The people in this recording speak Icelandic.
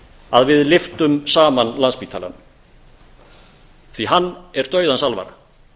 að við lyftum saman landspítalanum því að hann er dauðans alvara